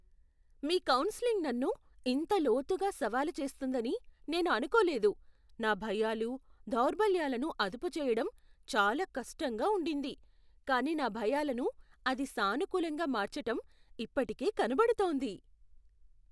మీ counselling నన్ను ఇంత లోతుగా సవాలు చేస్తుందని నేను అనుకోలేదు! నా భయాలు, దౌర్బల్యాలను అదుపు చెయ్యడం చాలా కష్టంగా ఉండింది, కానీ నా భయాలను అది సానుకూలంగా మార్చటం ఇప్పటికే కనపడుతోంది.